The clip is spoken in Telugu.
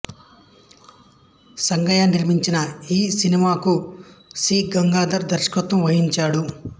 సంగయ్య నిర్మించిన ఈ సినిమాకు సి గంగాధర్ దర్శకత్వం వహించాడు